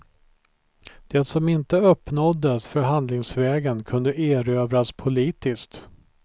Det som inte uppnåddes förhandlingsvägen kunde erövras politiskt.